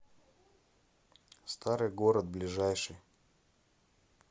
старый город ближайший